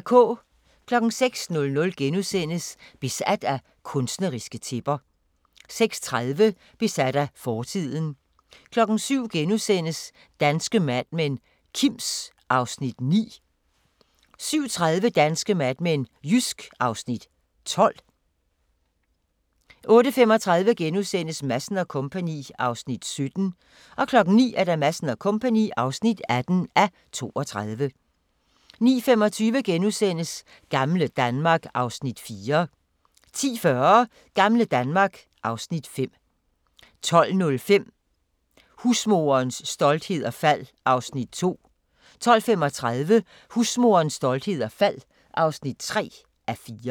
06:00: Besat af kunstneriske tæpper * 06:30: Besat af fortiden 07:00: Danske Mad Men: Kims (Afs. 9)* 07:30: Danske Mad Men: Jysk (Afs. 12) 08:35: Madsen & Co. (17:32)* 09:00: Madsen & Co. (18:32) 09:25: Gamle Danmark (Afs. 4)* 10:40: Gamle Danmark (Afs. 5) 12:05: Husmorens storhed og fald (2:4) 12:35: Husmorens storhed og fald (3:4)